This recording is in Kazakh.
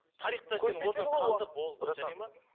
тарихта сенің орның қалды болды жарайды ма